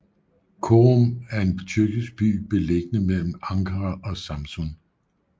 Çorum er en tyrkisk by beliggende mellem Ankara og Samsun